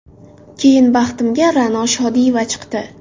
Keyin baxtimga Ra’no Shodiyeva chiqdi.